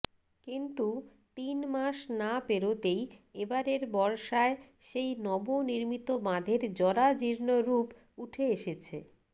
কিন্তু তিন মাস না পেরোতেই এবারের বর্ষায় সেই নবনির্মিত বাঁধের জরাজীর্ণরূপ উঠে এসেছে